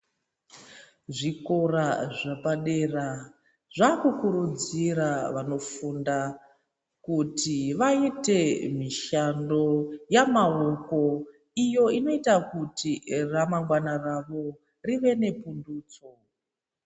Zvikora zvapadera zvakukurudzira vanofunda kuti vaite mishando yamaoko iyo inoita kuti ramangwana ravo rive nepundutso.